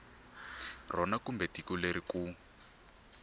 rona kumbe tiko leri ku